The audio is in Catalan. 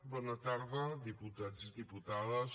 bona tarda diputats i diputades